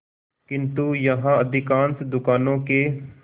किंतु यहाँ अधिकांश दुकानों के